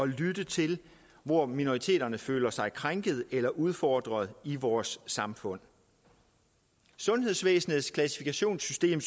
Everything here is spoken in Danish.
lytte til hvor minoriteterne føler sig krænkede eller udfordrede i vores samfund sundhedsvæsenets klassifikationssystem